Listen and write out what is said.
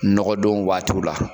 Nɔgɔn don waatiw la